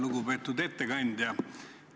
Lugupeetud ettekandja!